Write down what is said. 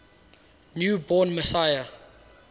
new born messiah